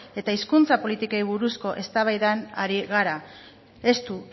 eta hizkuntza politikei buruzko eztabaidan ari gara estu